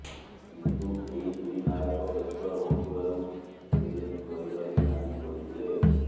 କିନ୍ତୁ ଏହି ଦୁଇ ନାୟକ ବ୍ୟସ୍ତ ରହୁଥିବାରୁ ଫିଲ୍ମ କରିପାରବେ ନାହିଁ କହିଥିଲେ